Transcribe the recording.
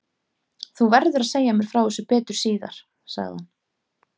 Þú verður að segja mér frá þessu betur síðar sagði hann.